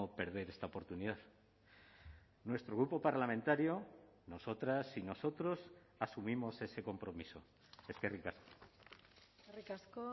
perder esta oportunidad nuestro grupo parlamentario nosotras y nosotros asumimos ese compromiso eskerrik asko eskerrik asko